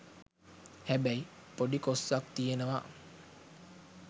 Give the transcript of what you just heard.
හැබැයි පොඩි කොස්සක් තියනවා.